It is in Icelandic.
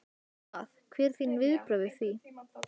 Hvað, hver eru þín viðbrögð við því?